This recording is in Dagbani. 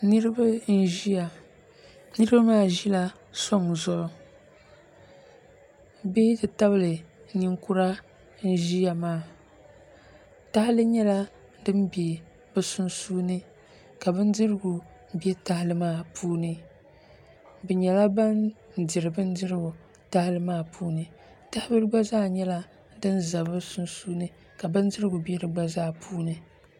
niriba n-ʒiya niriba maa ʒila sɔŋ zuɣu bihi n-ti tabli niŋkura n-ʒiya maa tahili nyɛla din n-be bɛ sunsuuni ka bindirigu be tahili maa puuni bɛ nyɛla ban n-diri bindirigu tahili maa puuni tah'bila gba zaa nyɛla din za bɛ sunsuuni ka bindirigu be di gbazaa puuni